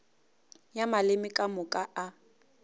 ya maleme ka moka a